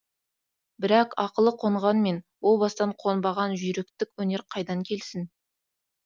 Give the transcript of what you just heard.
бірақ ақылы қонғанмен о баста қонбаған жүйріктік өнер қайдан келсін